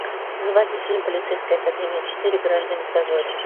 заводи фильм полицейская академия четыре граждане в дозоре